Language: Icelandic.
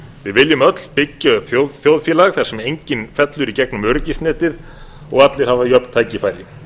við viljum öll byggja upp þjóðfélag þar sem enginn fellur í gegnum öryggisnetið og allir hafa jöfn tækifæri